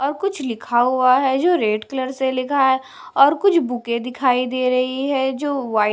और कुछ लिखा हुआ है जो रेड कलर से लिखा है और कुछ बुके दिखाई दे रही है जो वाइट --